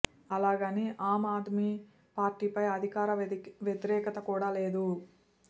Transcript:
అలాగని ఆమ్ ఆద్మీ పార్టీపై అధికార వ్యతిరేకత కూడా లేదు